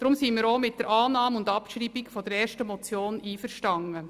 Deshalb sind wir auch mit der Annahme und Abschreibung der ersten Motion einverstanden.